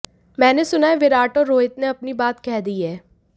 मैंने सुना है विराट और रोहित ने अपनी बात कह दी है